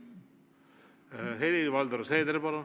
Helir-Valdor Seeder, palun!